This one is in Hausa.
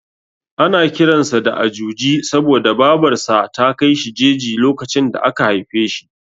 Ana kiran sa da Ajuji saboda Babar sa ta kai shi jeji lokacin da aka haife shi.